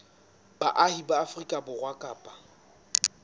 baahi ba afrika borwa kapa